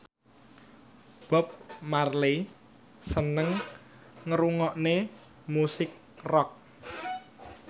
Bob Marley seneng ngrungokne musik rock